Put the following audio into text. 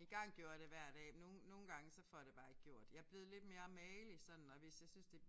Engang gjorde jeg det hver dag nogle nogle gange så får jeg det bare ikke gjort. Jeg er blevet lidt mere magelig sådan og hvis jeg synes det